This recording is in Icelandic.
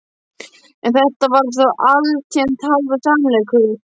En þetta var þó alltént hálfur sannleikur.